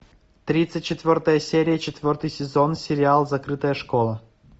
тридцать четвертая серия четвертый сезон сериал закрытая школа